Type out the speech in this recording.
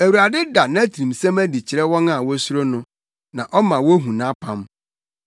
Awurade da nʼatirimsɛm adi kyerɛ wɔn a wosuro no; na ɔma wohu nʼapam.